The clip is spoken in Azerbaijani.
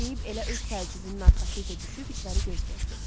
Deyib elə öz təəccübünün arxasınca düşüb içəri göz gəzdirdi.